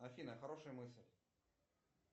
афина хорошая мысль